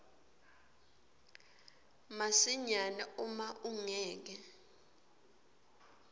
masinyane uma ungeke